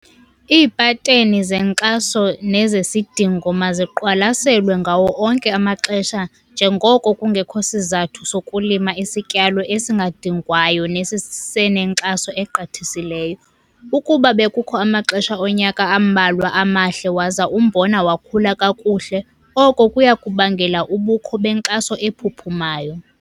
Iipateni zenkxaso nezesidingo maziqwalaselwe ngawo onke amaxesha njengoko kungekho sizathu sokulima isityalo esingadingwayo nesesinenkxaso egqithisileyo. Ukuba bekukho amaxesha onyaka ambalwa amahle waza umbona wakhula kakuhle, oko kuya kubangela ubukho benkxaso ephuphumayo.